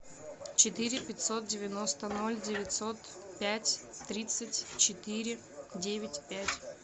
четыре пятьсот девяносто ноль девятьсот пять тридцать четыре девять пять